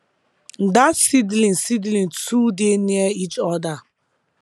dat seedling seedling too dey near each other